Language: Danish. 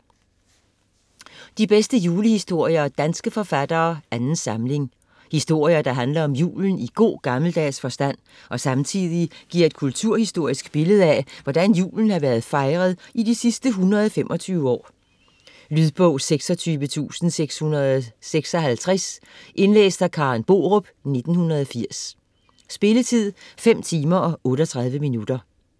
De bedste julehistorier af danske forfattere - 2. samling Historier, der handler om julen i god gammeldags forstand, og samtidig giver et kulturhistorisk billede af, hvordan julen har været fejret i de sidste 125 år. Lydbog 26656 Indlæst af Karen Borup, 1980. Spilletid: 5 timer, 38 minutter.